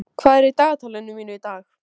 Snjófríður, hvað er í dagatalinu mínu í dag?